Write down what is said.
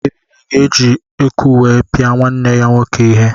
Ebube ga-eji eku wee pia nwanne ya nwoke ihe.